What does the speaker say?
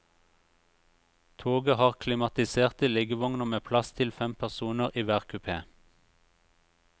Toget har klimatiserte liggevogner med plass til fem personer i hver kupé.